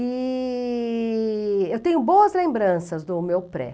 E eu tenho boas lembranças do meu pré.